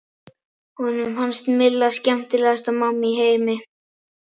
Honum fannst Milla skemmtilegasta mamma í heimi.